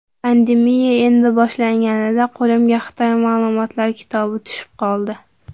Pandemiya endi boshlanganida qo‘limga Xitoy ma’lumotlar kitobi tushib qoldi.